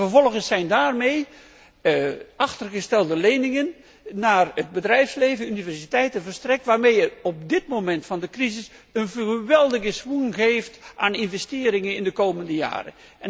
Vervolgens zijn daarmee achtergestelde leningen aan het bedrijfsleven en de universiteiten verstrekt, waarmee je op dit moment van de crisis een geweldige schwung geeft aan investeringen in de komende jaren.